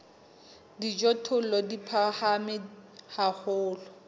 hlahisa dijothollo di phahame haholo